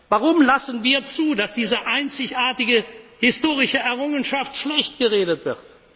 zu sein? Warum lassen wir zu, dass diese einzigartige historische Errungenschaft schlecht geredet